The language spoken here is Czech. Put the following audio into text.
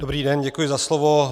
Dobrý den, děkuji za slovo.